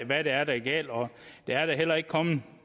hvad det er der er galt og der er da heller ikke kommet